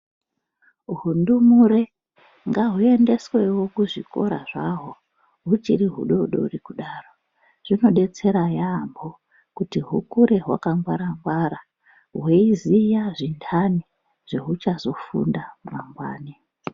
Zvindumure ngazviendeswewo kuzvikora zvaho huchiri hudodori kudaro. Zvinodetsera yaamho kuti hukure hwakangwara ngwara hweiziya zvinhani zvehuchazofunda mangwani.